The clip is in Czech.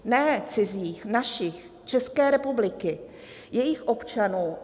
Ne cizích, našich, České republiky, jejích občanů.